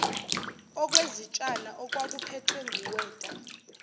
okwezitshana okwakuphethwe nguweta